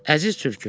Əziz tülkü.